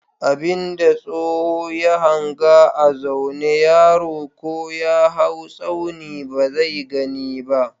Abin da tsoho ya hanga a zaune yaro ko ya haw tsauni ba zai gani ba.